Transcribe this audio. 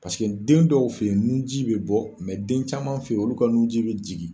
den dɔw fɛ yen nunji bɛ bɔ den caman fɛ yen olu ka nunji bɛ jigin .